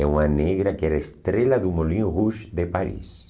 É uma negra que era estrela do Molinho Rouge de Paris.